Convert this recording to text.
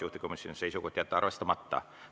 Juhtivkomisjoni seisukoht on jätta arvestamata.